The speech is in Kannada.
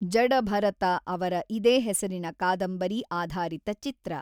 ಜಡಭರತ ಅವರ ಇದೇ ಹೆಸರಿನ ಕಾದಂಬರಿ ಆಧಾರಿತ ಚಿತ್ರ.